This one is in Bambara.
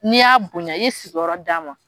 N'i y'a bonya i ye sigi yɔrɔ d'a ma.